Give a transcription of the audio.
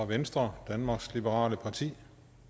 venstre danmarks liberale parti